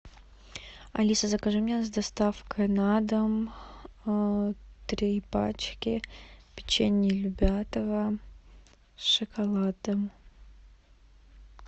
алиса закажи мне с доставкой на дом три пачки печенья любятово с шоколадом